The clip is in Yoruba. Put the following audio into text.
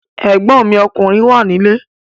Ẹ̀gbọ́n mi ọkùnrin wà nílé